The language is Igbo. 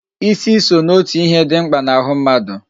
Ịsị so n'otu ihe dị mkpa n'ahụ mmadụ